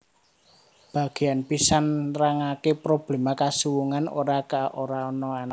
Bagéan pisan nrangaké probléma kasuwungan ora ka ora anan